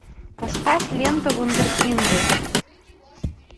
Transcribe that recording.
поставь ленту вундеркинды